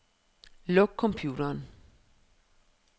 Luk computeren.